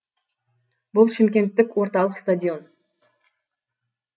бұл шымкенттегі орталық стадион